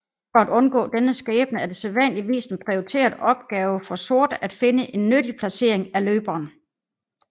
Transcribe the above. For at undgå denne skæbne er det sædvanligvis en prioriteret opgave for sort at finde en nyttig placering af løberen